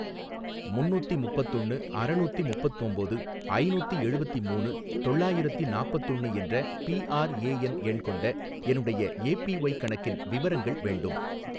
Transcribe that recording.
முன்னூத்தி முப்பத்தொன்னு அறநூத்தி முப்பத்தொம்போது ஐநூத்தி எழுவத்தி மூணு தொள்ளாயிரத்தி நாப்பத்தொன்னு என்ற பிஆர்ஏஎன் எண் கொண்ட என்னுடைய ஏபிஒய் கணக்கின் விவரங்கள் வேண்டும்